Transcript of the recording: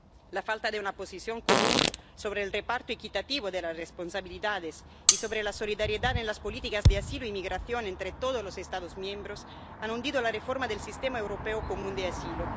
La falta de una posición común sobre el reparto equitativo de las responsabilidades y sobre la solidaridad en las políticas de asilo y migración entre todos los Estados miembros ha hundido la reforma del sistema europeo común de asilo.